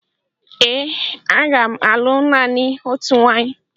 Ee, m ga-alụ naanị otu nwaanyị